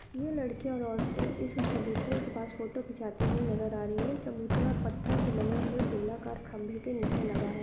यह लड़कियां और औरतें इस चबूतरे के पास फोटो खिचाते हुए नजर आ रही हैं चबूतरा पत्थर से बने हुए गोलाकार खंभे के नीचे लगा है।